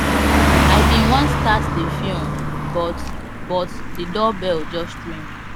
i bin want start the film but but the doorbell just ring